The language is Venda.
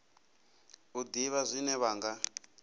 u ḓivha zwine vha nga